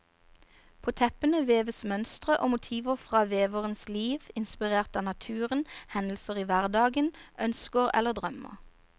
På teppene veves mønstre og motiver fra veverens liv, inspirert av naturen, hendelser i hverdagen, ønsker eller drømmer.